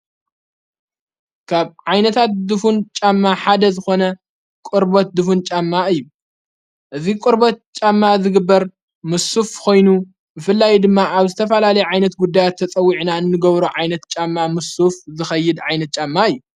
ካብ ዓይነታት ድፉን ጫማ ሓደ ዝኾነ ቝርበት ድፉን ጫማ እዩ ።እዝ ቊርበት ጫማ ዝግበር ምሱፍ ኾይኑ ፤ምፍላይ ድማ ኣብ ዝተፈላሌ ዓይነት ጕዳያት ተጸዊዕና እንገብሮ ዓይነት ጫማ ምሱፍ ዘኸይድ ዓይነት ጫማ እዩ።